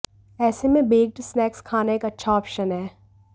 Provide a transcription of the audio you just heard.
ऐसे में baked snacks खाना एक अच्छा ऑप्शन हैं